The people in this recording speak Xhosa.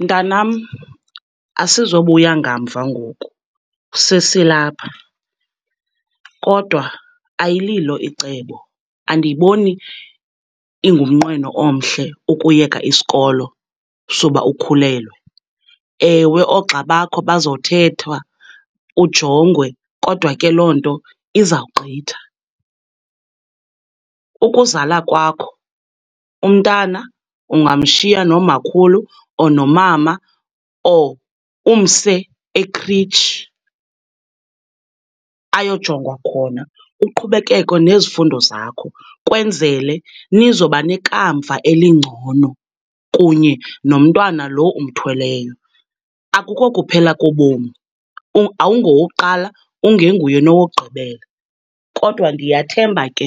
Mntanam asizobuya ngamva ngoku, sesilapha, kodwa ayililo icebo, andiyiboni ingumnqweno omhle ukuyeka isikolo suba ukhulelwe. Ewe, oogxa bakho bazothetha, ujongwe, kodwa ke loo nto izawugqitha. Ukuzala kwakho umntana ungamshiya nomakhulu or nomama or umse ekritshi ayojongwa khona, uqhubekeke nezifundo zakho kwenzele nizoba nekamva elingcono kunye nomntwana lo umthweleyo. Akuko kuphela kobomi, awungowokuqala ungenguye nowokugqibela, kodwa ndiyathemba ke